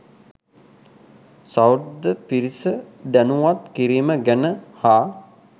සහෘද පිරිස දැනුවත් කිරීම ගැන හා